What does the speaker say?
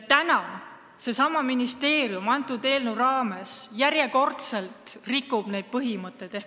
Täna aga seesama ministeerium rikub selle eelnõuga järjekordselt neid põhimõtteid.